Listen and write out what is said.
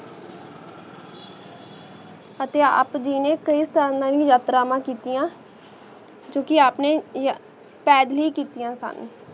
ਅਤੀ ਆਪ ਦੀ ਜੀ ਨੇ ਖਾਈ ਯਾਤ੍ਰਾਮਾ ਕਿਤਿਯਾਂ ਜੋ ਕੇ ਆਪ ਨੇ ਯਾ ਪੇਦ੍ਲ੍ਯ ਕਿਤਿਯਾਂ ਸਨ